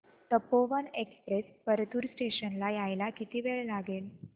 Tapovan express Partur station ला यायला किती वेळ लागेल